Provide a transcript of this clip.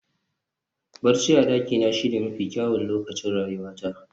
Barci a dakina shine mafi kyawun lokacin rayuwata